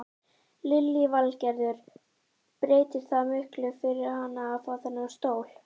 Lillý Valgerður: Breytir það miklu fyrir hana að fá þennan stól?